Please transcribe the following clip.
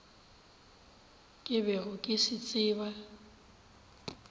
ke bego ke se tseba